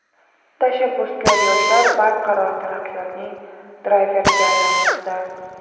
tashabbuskor yoshlar barqaror taraqqiyotning drayveriga aylanmoqda.